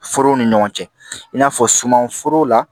Foro ni ɲɔgɔn cɛ in n'a fɔ sumanforo la